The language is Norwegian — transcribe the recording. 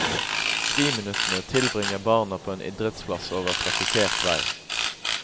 Friminuttene tilbringer barna på en idrettsplass over trafikkert vei.